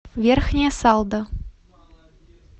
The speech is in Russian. верхняя салда